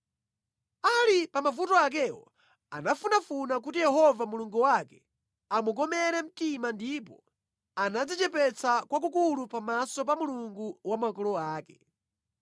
Ali pa mavuto akewo anafunafuna kuti Yehova Mulungu wake amukomere mtima ndipo anadzichepetsa kwakukulu pamaso pa Mulungu wa makolo ake.